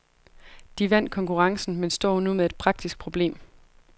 De vandt konkurrencen, men står nu med et praktisk problem.